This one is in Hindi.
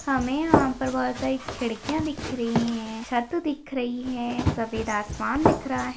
हमें यहाँ पर बहुत सारी खिड़कियां दिख रही है छत दिख रही है सफेद आसमान दिख रहा है।